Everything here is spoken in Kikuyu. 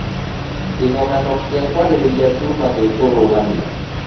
Kĩgomano kĩa kwarĩrĩria Zuma gĩkũrũgamio.